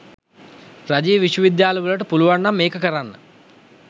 රජයේ විශ්ව විද්‍යාල වලට පුළුවන් නම් ඒක කරන්න